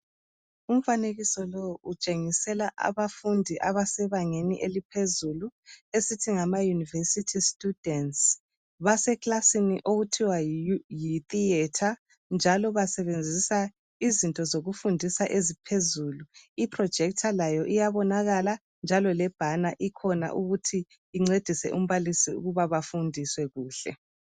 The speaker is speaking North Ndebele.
Umfanekiso lowu utshengisela abafundi abasebangeni eliphezulu esithi ngama University students. Basekilasini okuthiwa yi theater njalo basebenzisa izinto zokufundisa eziphezulu. I projector layo iyabonakala njalo le banner ikhona ukuba incedise umbalisi ukuba afundise kuhle.